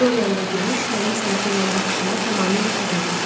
Dorianla görüş mənim sənətə olan baxışımı tamamilə təzələyib.